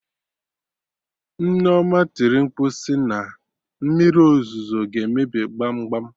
Nneoma tiri mkpu sị na Mmiri ozuzo ga emebi gbam gbam!